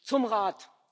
Zum Rat.